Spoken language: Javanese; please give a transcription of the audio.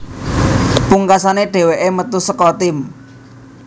Pungkasane dheweke metu saka tim